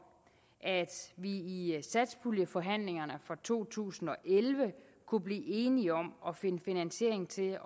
at vi i satspuljeforhandlingerne for to tusind og elleve kunne blive enige om at finde finansiering til